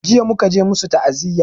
Jiya muka je masu ta'aziya